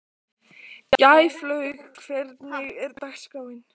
Gæflaug, hvernig er dagskráin?